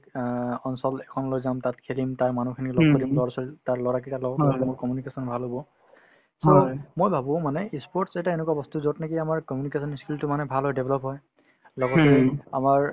অ অঞ্চল এখনলৈ যাম তাত খেলিম তাৰ মানুহখিনি লগ কৰিম লৰা-ছোৱালী তাৰ লৰাকেইটাৰ লগত কথাপাতিলে মোৰ communication ভাল হব so মই ভাবো মানে ই sports এটা এনেকুৱা বস্তু যত নেকি আমাৰ communication ই skill তো মানে ভাল হয় develop হয় লগতে আমাৰ